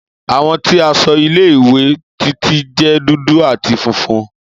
Àwọ̀ ti aṣọ ile-iwe Titi jẹ dudu ati funfun.